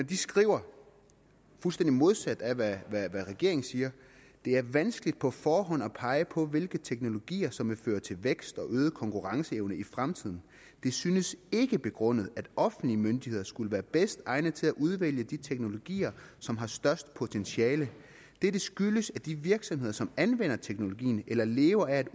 de skriver det fuldstændig modsatte af hvad regeringen siger det er vanskeligt på forhånd at pege på hvilke teknologier som vil føre til vækst og øget konkurrenceevne i fremtiden det synes ikke begrundet at offentlige myndigheder skulle være bedst egnet til udvælge de teknologier som har størst potentiale dette skyldes at de virksomheder som anvender teknologien eller lever af